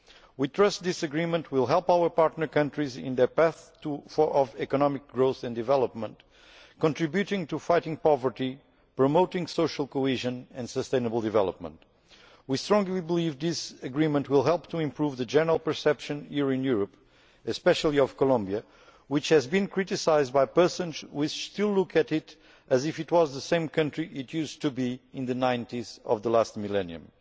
We trust this agreement will help our partner countries on their path to economic growth and development, contributing to fighting poverty, promoting social cohesion and sustainable development. We strongly believe this agreement will help to improve the general perception, here in Europe, of Colombia in particular, which has been criticised by persons who still look at it as if it was the same country it used to be in the 1990s, in the last millennium.